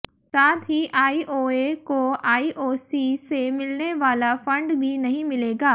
साथ ही आईओए को आईओसी से मिलने वाला फंड भी नहीं मिलेगा